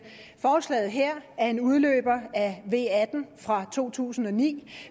forslaget her er en udløber af v atten fra to tusind og ni